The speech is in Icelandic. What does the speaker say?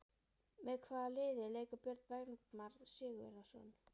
Með hvaða liði leikur Björn Bergmann Sigurðarson?